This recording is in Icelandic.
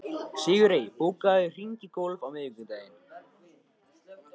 Sigurey, bókaðu hring í golf á miðvikudaginn.